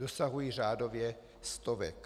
Dosahují řádově stovek.